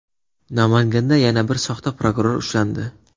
Namanganda yana bir soxta prokuror ushlandi.